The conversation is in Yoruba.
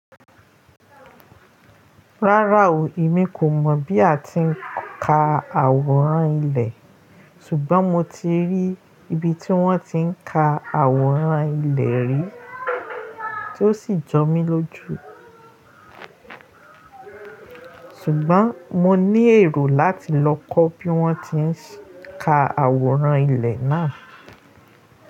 Rárá o, èmi kò mọ̀ bí a ti ń ka àwòrán ilẹ̀, ṣùgbọ́n mo ti rí ibi tí wọ́n ti ń ka àwòrán ilẹ̀ rí, tí ó sì jọ mí lójú. Ṣùgbọ́n mo ní èrò láti lọ kọ́ bí wọ́n ti ń ka àwòrán ilẹ̀ náà.